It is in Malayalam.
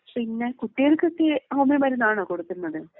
ഉം പിന്നെ കുട്ടികൾക്കൊക്കെ ഹോമിയോ മരുന്നാണോ കൊടുക്കുന്നത്?